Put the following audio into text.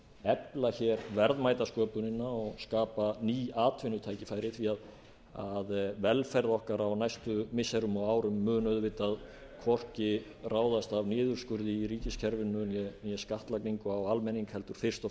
efla verðmætasköpunina og skapa ný atvinnutækifæri því að velferð okkar á næstu missirum og árum mun auðvitað hvorki ráðast af niðurskurði í ríkiskerfinu né skattlagningu á almenning heldur fyrst og